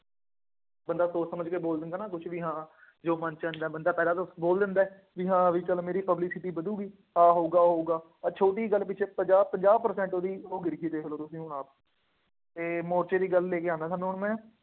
ਬਂੰਦਾ ਸੋਣ ਸਮਝ ਕੇ ਬੋਲ ਦਿੰਦਾ ਨਾ ਕੁੱਛ ਵੀ ਹਾਂ, ਜੋ ਮਨ ਚ ਆਏ, ਬੰਦਾ ਪਹਿਲਾਂ ਤਾਂ ਬੋਲ ਦਿੰਦਾ, ਬਈ ਹਾਂ, ਬਈ ਚੱਲ ਮੇਰੀ publicity ਵਧੂਗੀ, ਆਹ ਹੋਊਗਾ, ਉਹ ਹੋਊਗਾ, ਇਹ ਛੋਟੀ ਗੱਲ ਪਿੱਛੇ ਪੰਜਾਹ ਪੰਜਾਹ percent ਉਹਦੀ ਉਹ ਗਿਰ ਗਈ, ਦੇਖ ਲਉ ਤੁਸੀਂ ਹੁਣ ਆਪ, ਇਹ ਮੋਰਚੇ ਦੀ ਗੱਲ ਲੈ ਕੇ ਆਉਂਦਾ ਤੁਹਾਨੂੰ ਹੁਣ ਮੈਂ,